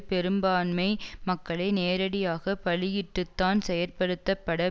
பெரும்பான்மை மக்களை நேரடியாக பலியிட்டுத்தான் செயற்படுத்தப்பட